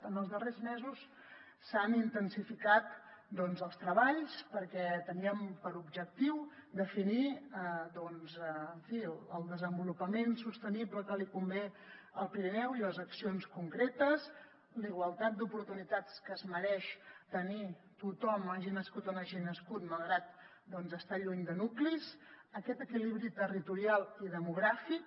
en els darrers mesos s’han intensificat els treballs perquè teníem per objectiu definir doncs en fi el desenvolupament sostenible que li convé al pirineu i accions concretes la igualtat d’oportunitats que es mereix tenir tothom hagi nascut on hagi nascut malgrat estar lluny de nuclis aquest equilibri territorial i demogràfic